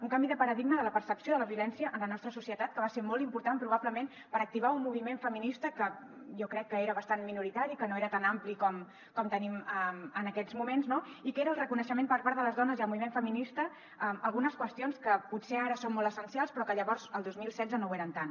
un canvi de paradigma de la percepció de la violència en la nostra societat que va ser molt important probablement per activar un moviment feminista que jo crec que era bastant minoritari que no era tan ampli com tenim en aquests moments i que era el reconeixement per part de les dones i el moviment feminista a algunes qüestions que potser ara són molt essencials però que llavors el dos mil setze no ho eren tant